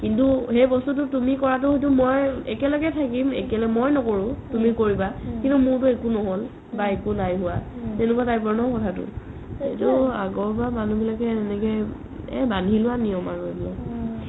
কিন্তু সেই বস্তুতো তুমি কুৱাতো মই একেলগে থাকিম মই নকৰো তুমি কৰিবা কিন্তু মোৰটো একো নহ'ল বা একো নাই হুৱা তেনেকুৱা type ৰ ন কথাটো আগৰ পা মানুহ বিলাকে সেনেকে এই বন্ধি লোৱা নিয়ম আৰু এইবিলাক